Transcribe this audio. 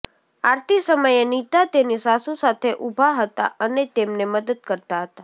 આરતી સમયે નીતા તેની સાસુ સાથે ઉભા હતા અને તેમને મદદ કરતા હતા